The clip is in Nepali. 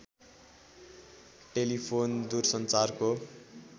टेलीफोन दूर सञ्चारको